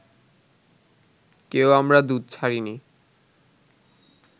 কেউ আমরা দুধ ছাড়িনি